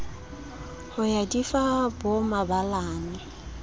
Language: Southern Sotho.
ho ya di fa bomabalane